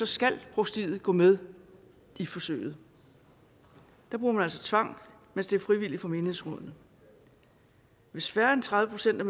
skal provstiet gå med i forsøget der bruger man altså tvang mens det er frivilligt for menighedsrådene hvis færre end tredive procent af